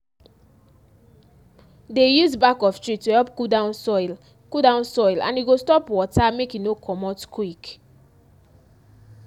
dey use back of tree to help cool down soil cool down soil and e go stop water make e no comot quick.